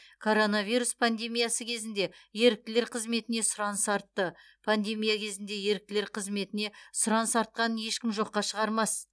коронавирус пандемиясы кезінде еріктілер қызметіне сұраныс артты пандемия кезінде еріктілер қызметіне сұраныс артқанын ешкім жоққа шығармас